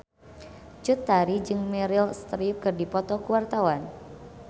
Cut Tari jeung Meryl Streep keur dipoto ku wartawan